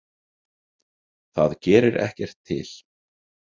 Það gerir ekkert til.